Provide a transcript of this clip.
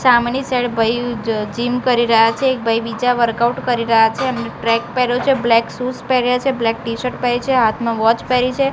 સામેની સાઈડ ભઈ જ જીમ કરી રહ્યા છે એક ભઈ બીજા વર્કઆઉટ કરી રહ્યા છે એમને ટ્રેક પહેરો છે બ્લેક શૂઝ પહેર્યા છે બ્લેક ટીશર્ટ પેહરી છે હાથમાં વોચ પેરી છે.